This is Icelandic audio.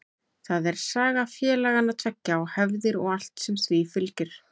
Það er saga félagana tveggja og hefðir og allt sem því fylgir.